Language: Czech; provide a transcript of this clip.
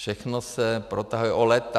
Všechno se protahuje o léta.